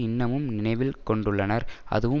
இன்னமும் நினைவில் கொண்டுள்ளனர் அதுவும்